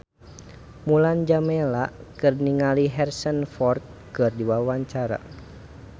Mulan Jameela olohok ningali Harrison Ford keur diwawancara